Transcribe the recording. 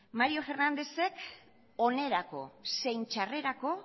mario fernandez ek onerako zein txarrerako